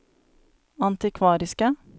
antikvariske